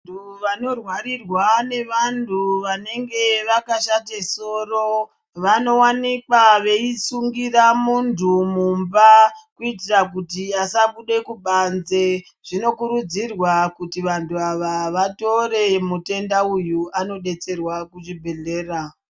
Vantu vanorwarirwa nevantu vanenge vakashate soro vanowanikwa veisungira muntu mumba kuitira kuti asabude kubanze zvinokuridzirwa kuti vantu ava vatore mutenda uyu anodetserwa kuchibhedhlera.